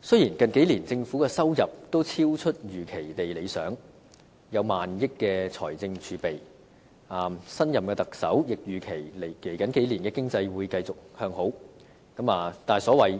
雖然近數年政府收入都超出預期地理想，有高達萬億元的財政儲備，新任特首亦預期未來數年的經濟會繼續向好，但所謂